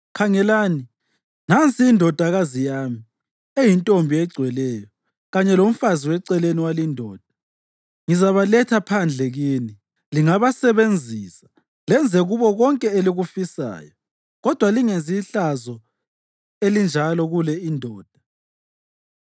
Khangelani, nansi indodakazi yami eyintombi egcweleyo, kanye lomfazi weceleni walindoda. Ngizabaletha phandle kini, lingabasebenzisa lenze kubo konke elikufisayo. Kodwa lingenzi ihlazo elinjalo kule indoda.”